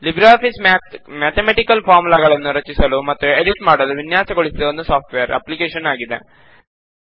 Libre Office Math mathematical ಫಾರ್ಮುಲಾಗಳನ್ನು ರಚಿಸಲು ಮತ್ತು ಎಡಿಟ್ ಮಾಡಲು ವಿನ್ಯಾಸಗೊಳಿಸಿದ ಒಂದು ಸಾಫ್ಟ್ ವೇರ್ ಅಪ್ಲಿಕೇಶನ್ ಆಗಿದೆ